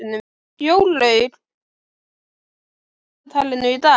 Jórlaug, hvað er á dagatalinu í dag?